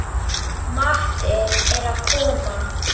Matti er að koma!